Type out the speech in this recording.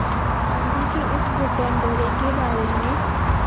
गांधी के इस ब्रिटेन दौरे के बारे में